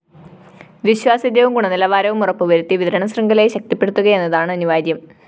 വിശ്വാസ്യതയും ഗുണനിലവാരവും ഉറപ്പുവരുത്തി വിതരണ ശൃംഖലയെ ശക്തിപ്പെടുത്തുകയെന്നതാണ് അനിവാര്യം